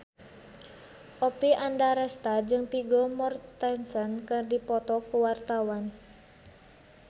Oppie Andaresta jeung Vigo Mortensen keur dipoto ku wartawan